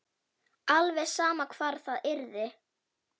Alveg sama hvar það yrði.